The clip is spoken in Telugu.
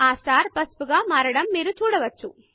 ఆ స్టార్ పసుపుగా మారడం మీరు చూడవచ్చు